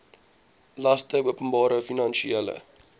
laste openbare finansiële